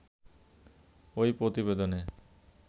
ঐ প্রতিবেদনে